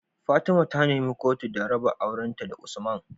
Fatima ta nemi kotu da raba auren ta da usman